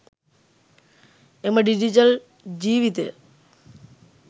එම ඩිජිටල් ජීවිතය